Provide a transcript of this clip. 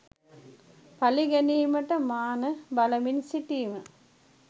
පලි ගැනීමට මාන බලමින් සිටීම